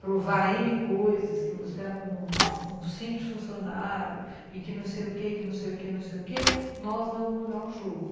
Provar ene coisas, que você era um simples funcionário e que não sei o quê, que não sei o quê, não sei o quê, nós não vamos mudar o jogo.